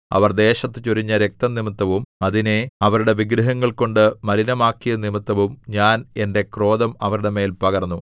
അവർ ദേശത്തു ചൊരിഞ്ഞ രക്തംനിമിത്തവും അതിനെ അവരുടെ വിഗ്രഹങ്ങൾകൊണ്ടു മലിനമാക്കിയതുനിമിത്തവും ഞാൻ എന്റെ ക്രോധം അവരുടെ മേൽ പകർന്നു